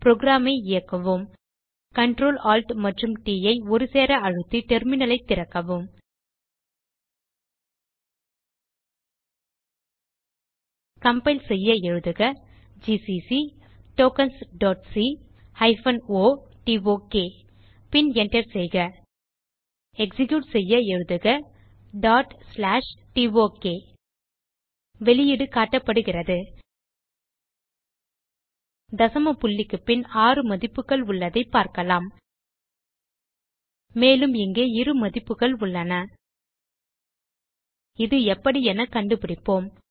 program ஐ இயக்குவோம் Ctrl Alt மற்றும் ட் ஐ ஒருசேர அழுத்தி டெர்மினல் ஐ திறக்கவும் கம்பைல் செய்ய எழுதுக ஜிசிசி tokensசி o டோக் பின் Enter செய்க எக்ஸிக்யூட் செய்ய எழுதுக tok வெளியீடு காட்டப்படுகிறது தசம புள்ளிக்கு பின் 6 மதிப்புகள் உள்ளதைப் பார்க்கலாம் மேலும் இங்கே இரு மதிப்புகள் உள்ளன இது எப்படி என கண்டுபிடிப்போம்